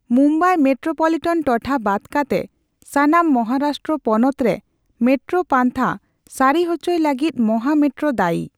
Mumbai metropolitan ᱴᱚᱴᱷᱟ ᱵᱟᱫ ᱠᱟᱛᱮ ᱥᱟᱱᱟᱢ ᱢᱚᱦᱟᱨᱟᱥᱴᱨᱚ ᱯᱚᱱᱚᱛᱨᱮ ᱢᱮᱴᱨᱳ ᱯᱟᱱᱛᱷᱟ ᱥᱟᱹᱨᱤᱩᱪᱩᱭ ᱞᱟᱹᱜᱤᱫ ᱢᱚᱦᱟ ᱢᱮᱴᱨᱳ ᱫᱟᱹᱭᱤ᱾